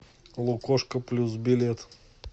лукошко плюс билет